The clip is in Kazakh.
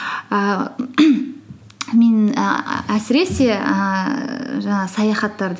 ііі мен ііі әсіресе ііі жаңағы саяхаттарды